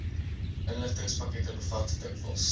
inligtingspakkette bevat dikwels